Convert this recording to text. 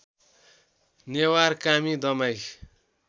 Newar Kami Damai